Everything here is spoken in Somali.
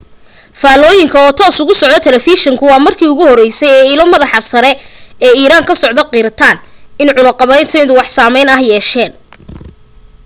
faallooyinka oo toos uga socda talafeeshinku waa markii ugu horeysay ee ilo madaxda sare ee iiraan ka socda qirtaan in cunaqabataynadu wax saameyn ah yeesheen